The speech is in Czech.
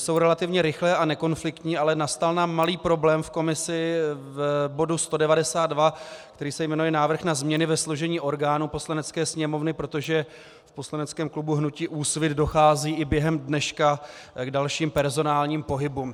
Jsou relativně rychlé a nekonfliktní, ale nastal nám malý problém v komisi u bodu 192, který se jmenuje Návrh na změny ve složení orgánů Poslanecké sněmovny, protože v poslaneckém klubu hnutí Úsvit dochází i během dneška k dalším personálním pohybům.